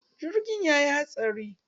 Jirgin ya yi hatsari.